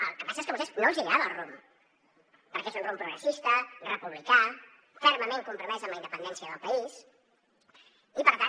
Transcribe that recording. el que passa és que a vostès no els hi agrada el rumb perquè és un rumb progressista republicà fermament compromès amb la independència del país i per tant